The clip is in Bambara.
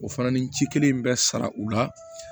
O fana ni ci kelen in bɛ sara u la